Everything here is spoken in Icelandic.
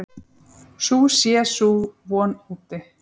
Sú sé sú von úti.